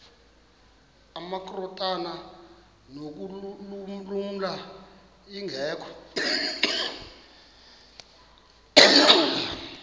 amakrot anokulamla ingeka